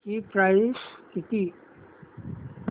ची प्राइस किती